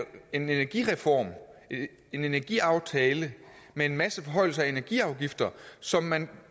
energireform en energiaftale med en masse forhøjelser af energiafgifter som man